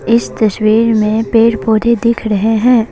इस तस्वीर में पेड़ पौधे दिख रहे हैं।